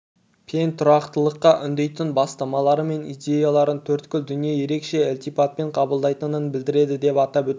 пен тұрақтылыққа үндейтін бастамалары мен идеяларын төрткүл дүние ерекше ілтипатпен қабылдайтынын білдіреді деп атап өтті